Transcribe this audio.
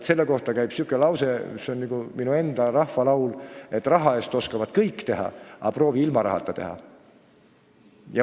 Selle kohta käib lause, mis on nagu minu enda rahvalooming: "Raha eest oskavad kõik teha, aga proovi ilma rahata teha!